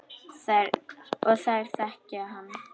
Og þær þekki hann.